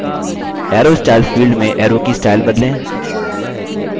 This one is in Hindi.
arrow styles field में arrow की स्टाइल बदलें